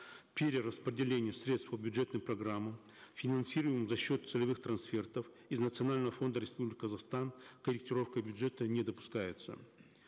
перераспределение средств по бюджетным программам финансируемым за счет целевых трнасфертов из национального фонда республики казахстан корректировка бюджета не допускается